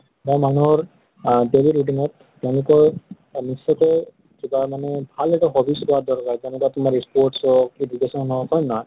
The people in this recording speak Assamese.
বা মানুহৰ আহ daily routine ত তেওঁলোকৰ এহ নিশ্চয় কে কিবা মানে ভাল hobbies হোৱাৰ দৰ্কাৰ। যেনেকা তোমাৰ sport হওঁক, education হওঁক হয় নে নহয়?